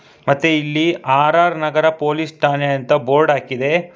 ಮತ್ತೆ ಇಲ್ಲಿ R R Nagar police ಠಾಣೆ ಅಂತ ಬೋರ್ಡ್ ಹಾಕಿದೆ.